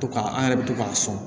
To k'a an yɛrɛ bɛ to k'a sɔn